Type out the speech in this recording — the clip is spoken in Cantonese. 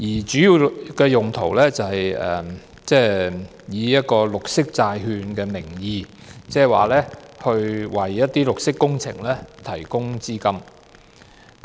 主要是以綠色債券的名義，為一些綠色工程提供資金。